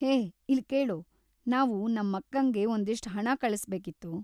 ಹೇ, ಇಲ್ಕೇಳು, ನಾವು ನಮ್ಮಕ್ಕಂಗೆ ಒಂದಿಷ್ಟು ಹಣ ಕಳಿಸ್ಬೇಕಿತ್ತು.